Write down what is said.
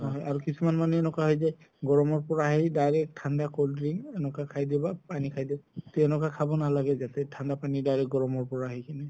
হয় আৰু কিছুমান মানুহ এনেকুৱা হয় যে গৰম পৰা আহি direct ঠাণ্ডা cold drink এনেকুৱা খাই দিব পানি খাই দিয়ে তে এনেকুৱা খাব নালাগে যাতে ঠাণ্ডা পানি direct গৰম পৰা আহি কিনে